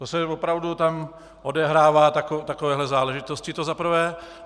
To se opravdu tam odehrávají takovéto záležitosti, to za prvé.